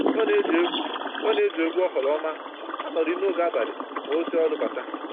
Ọ na-eji egwu Ọ na-eji egwu oghoroma anọrị noge abalị ma o si ọrụ bata